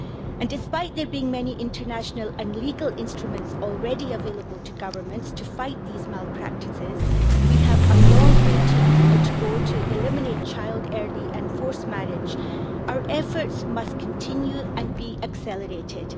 And despite there being many international and legal instruments already available to governments to fight these malpractices, we have a long way to go to eliminate child early and forced marriage. Our efforts must continue and be accelerated.